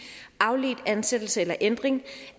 afledt ansættelse eller ændring